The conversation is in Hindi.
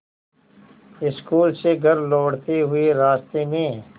स्कूल से घर लौटते हुए रास्ते में